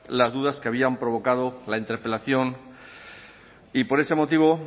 las dudas que habían provocado la interpelación y por ese motivo